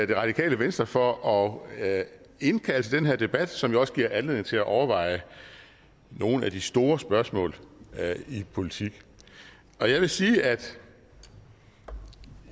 det radikale venstre for at indkalde til den her debat som jo også giver anledning til at overveje nogle af de store spørgsmål i politik jeg vil sige at